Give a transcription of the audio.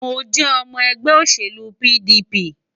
Mo jẹ́ ọmọ ẹgbẹ́ òṣèlú PDP.